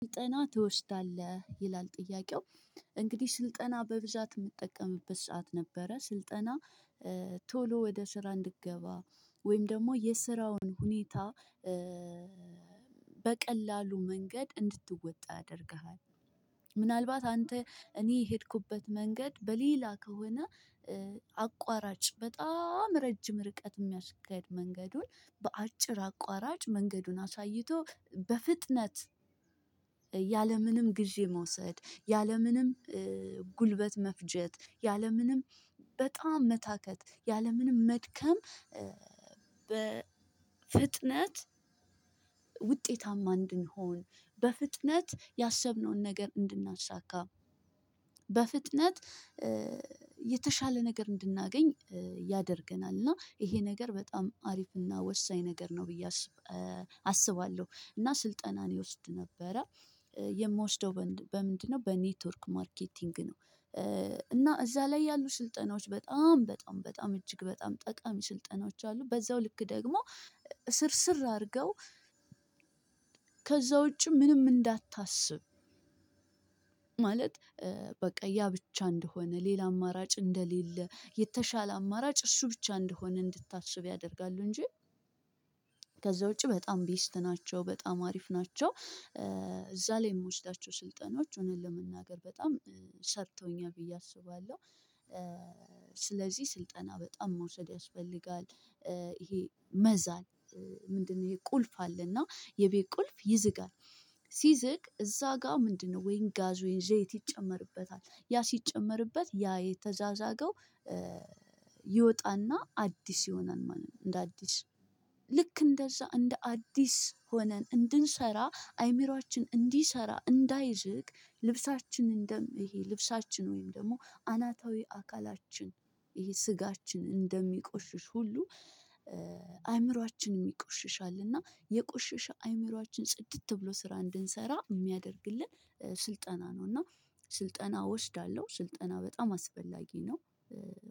ስልጠና ትወስዳለህ ይላል ጥያቄው? እንግዲህ ስልጠና በብዛት የምትጠቀምበት ሰዓት ነበረ ስልጠና ቶሎ ወደ ስራ እንድገባ ወይም ደግሞ የስራውን ሁኔታ በቀላሉ መንገድ እንድትወጣው ያደርግሃል። ምናልባት አንተ እኔ የሄድኩበት መንገድ በሌላ ከሆነ። አቁአራጭ በጣም ረጅም ርቀት ምያስኬድ መንገዱን በአጭር አቁአራጭ መንገዱን አሳይቶ በፍጥነት ያለምንም ጊዜ መውሰድ ያለምንም ጉልበት መፍጀት ያለምንም በጣም መታከት ያለምንም መድከም። በፍጥነት ውጤታማ እንድንሆን በፍጥነት ያሰብነውን ነገር እንድናሳካ በፍጥነት የተሻለ ነገር እንድናገኝ ያደርገናል። እና ይሄ ነገር በጣም አሪፍና ወሳኝ ነገር ነው ብዬ አስባለሁ። እና ስልጠናን እወስድ ነበረ የምወስደው በምንድነው በኔትወርክ ማርኬቲንግ ነው። እና እዛ ላይ ያሉ ስልጠናዎች በጣም በጣም በጣም እጅግ በጣም ጠቃሚ ስልጠናዎች አሉ። በዛው ልክ ደግሞ እስር ስር አድርገው ከዛ ውጪ ምንም እንዳታስብ። ማለት በቃ ያ ብቻ እንደሆነ ሌላ አማራጭ እንደሌለ የተሻለ አማራጭ እሱ ብቻ እንደሆነ እንድታስብ ያደርጋሉ። እንጂ ከዛ ውጪ በጣም ቤስት ናቸው በጣም አሪፍ ናቸው። እዛ ላይ የምወስዳቸው ስልጠናዎች እውነት ለመናገር በጣም ሰርተውኛል ብዬ አስባለሁ። ስለዚህ ስልጠና በጣም መውሰድ ያስፈልጋል። ይሄ መዛል ምንድነው? ይሄ ቁልፍ አለና የቤት ቁልፍ ይዝጋል። ሲዝግ እዛ ጋር ምንድነው? ወይን ጋዞ ወይን ዘይት ይጨመርበታል ያ ሲጨመርበት ያ የተዛዛገው ይወጣና አዲስ ይሆናል ማለት ነው። እንደ አዲስ ልክ እንደዛ እንደ አዲስ ሆነን እንድንሰራ አይምሮአችን እንዲሰራ እንዳይዝግ። ልብሳችን እንደም ይሄ ልብሳችን ወይም ደግሞ አናታዊ አካላችን ይሄ ስጋችን እንደሚቆሽሽ ሁሉ አእምሮአችንም ይቆሽሻል። እና የቆሽሽ አእምሮአችን ጽድት ብሎ ስራ እንድንሰራ የሚያደርግልን ስልጠና ነው። እና ስልጠና ወስዳለሁ ስልጠና በጣም አስፈላጊ ነው።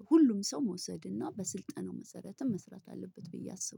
ሁሉም ሰው መውሰድ እና በስልጠናው መሰረትም መስራት አለበት ብዬ አስባለሁ